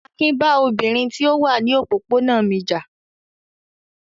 Akin bá obìnrin tí ó wà ní òpópónà mi jà.